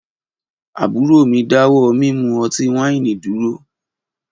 Aburo mi dawọ mimu ọti-waini duro.